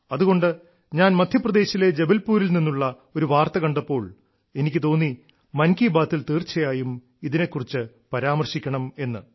അതുകൊണ്ട് ഞാൻ മദ്ധ്യപ്രദേശിലെ ജബൽപൂരിൽ നിന്നുള്ള ഒരു വാർത്ത കണ്ടപ്പോൾ എനിക്ക് തോന്നി മൻ കി ബാത്തിൽ തീർച്ചയായും ഇതിനെ കുറിച്ച് പരാമർശിക്കണമെന്ന്